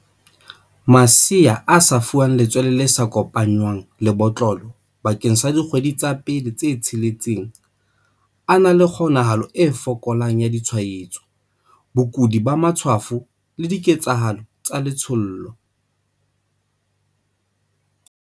Masea a fuwang letswele le sa kopanngwang le botlolo bakeng sa dikgwedi tsa pele tse tsheletseng a na le kgonahalo e fokolang ya ditshwaetso, bokudi ba matshwafo, le diketshalo tsa letshollo.